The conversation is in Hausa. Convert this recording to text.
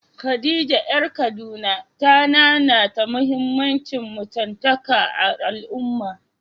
Khadija ƴar Kaduna ta nanata muhimmancin mutuntaka a al’ummarta.